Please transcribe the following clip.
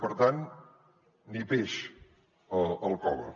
per tant ni peix al cove